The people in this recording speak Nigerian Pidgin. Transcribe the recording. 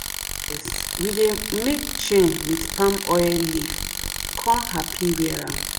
we dey make chain with palmoil leaf kon happy wear am.